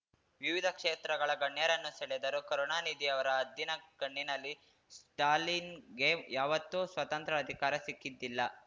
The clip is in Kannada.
ವಿವಿಧ ಕ್ಷೇತ್ರಗಳ ಗಣ್ಯರನ್ನು ಸೆಳೆದರು ಕರುಣಾನಿಧಿಯವರ ಹದ್ದಿನ ಕಣ್ಣಿನಲ್ಲಿ ಸ್ಟಾಲಿನ್‌ಗೆ ಯಾವತ್ತೂ ಸ್ವತಂತ್ರ ಅಧಿಕಾರ ಸಿಕ್ಕಿದ್ದಿಲ್ಲ